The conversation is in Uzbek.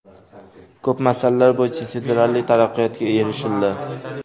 Ko‘p masalalar bo‘yicha sezilarli taraqqiyotga erishildi.